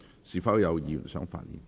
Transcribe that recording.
是否有議員想發言？